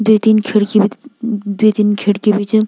द्वि तीन खिड़की भी द्वि तीन खिड़की भी च।